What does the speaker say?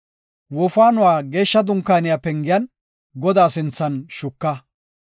Wofaanuwa Geeshsha Dunkaaniya pengiyan Godaa sinthan shuka.